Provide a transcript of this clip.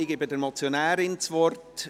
Ich gebe der Motionärin das Wort.